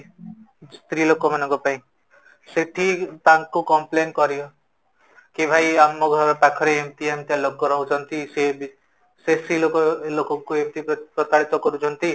ସ୍ତ୍ରୀ ଲୋକମାନଙ୍କ ପାଇଁ ସେଇଠି ତାଙ୍କୁ complain କରିବ କି ଆମ ଘର ପାଖରେ ଏମିତିଆ ଏମିତିଆ ଲୋକ ରହୁଛନ୍ତି ସେ ବି ସେ ସ୍ତ୍ରୀ ଲୋକ ସ୍ତ୍ରୀ ଲୋକକୁ ଏମିତି ପ୍ରତାରିତ କରୁଛନ୍ତି